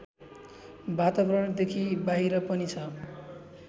वातावरणदेखि बाहिर पनि छ